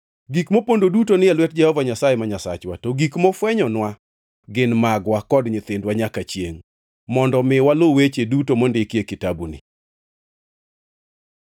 Gik mopondo duto ni e lwet Jehova Nyasaye ma Nyasachwa, to gik mofwenynwa gin magwa kod nyithindwa nyaka chiengʼ, mondo mi walu weche duto mondiki e kitabuni.